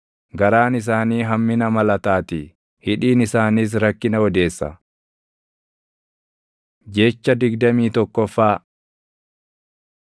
garaan isaanii hammina malataatii; hidhiin isaaniis rakkina odeessa. Jecha digdamii tokkoffaa